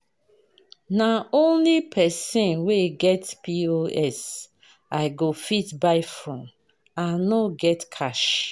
Na only pesin wey get POS I go fit buy from, I no get cash.